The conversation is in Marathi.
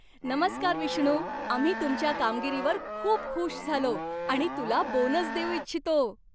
नमस्कार विष्णू, आम्ही तुमच्या कामगिरीवर खूप खूष झालो आणि तुला बोनस देऊ इच्छितो.